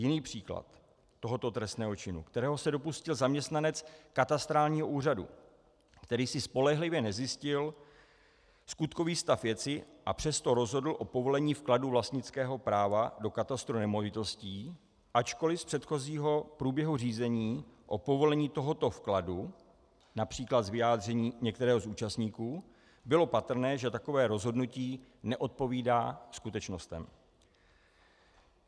Jiný příklad tohoto trestného činu, kterého se dopustil zaměstnanec katastrálního úřadu, který si spolehlivě nezjistil skutkový stav věci, a přesto rozhodl o povolení vkladu vlastnického práva do katastru nemovitostí, ačkoliv z předchozího průběhu řízení o povolení tohoto vkladu, například z vyjádření některého z účastníků, bylo patrné, že takové rozhodnutí neodpovídá skutečnostem.